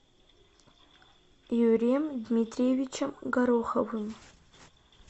юрием дмитриевичем гороховым